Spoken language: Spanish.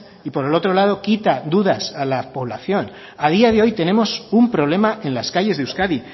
y por el otro lado quita dudas a la población a día de hoy tenemos un problema en las calles de euskadi